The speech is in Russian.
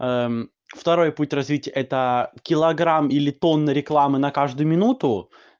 второй путь развитий это килограмм или тонна рекламы на каждую минуту